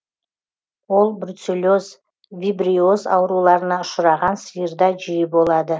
ол бруцеллез вибриоз ауруларына ұшыраған сиырда жиі болады